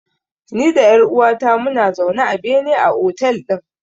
Ni da ƴar uwata muna zaune a bene a otel ɗin.